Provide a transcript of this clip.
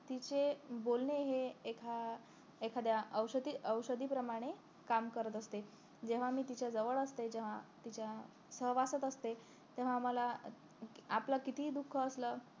तिचे बोलणे हे एका एखाद्या औषधी औषधी प्रमाणे काम करत असते जेव्हा मी तिच्या जवळ असते जेव्हा तिच्या सहवासात असते तेव्हा आम्हाला आपलं कितीही दुःख असलं कि